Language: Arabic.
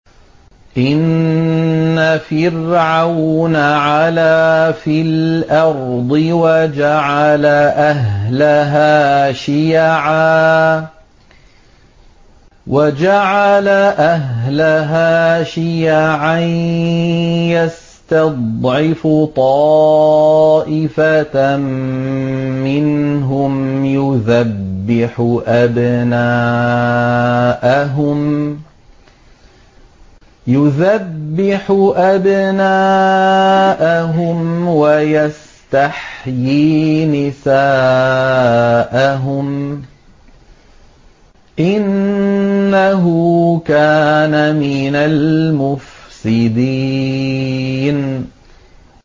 إِنَّ فِرْعَوْنَ عَلَا فِي الْأَرْضِ وَجَعَلَ أَهْلَهَا شِيَعًا يَسْتَضْعِفُ طَائِفَةً مِّنْهُمْ يُذَبِّحُ أَبْنَاءَهُمْ وَيَسْتَحْيِي نِسَاءَهُمْ ۚ إِنَّهُ كَانَ مِنَ الْمُفْسِدِينَ